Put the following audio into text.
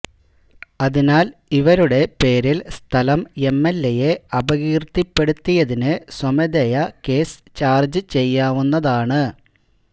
അതിനാല് ഇവരുടെ പേരില് സ്ഥലം എംഎല്എയെ അപകീര്ത്തിപ്പെടുത്തിയതിന് സ്വമേധയാ കേസ് ചാര്ജ്ജുചെയ്യാവുന്നതാണ്